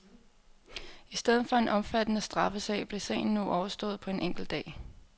I stedet for en omfattende straffesag, blev sagen nu overstået på en enkelt dag.